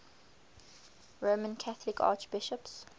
roman catholic archbishops